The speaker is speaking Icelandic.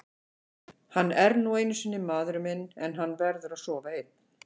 Hann er nú einu sinni maðurinn minn en hann verður að sofa einn.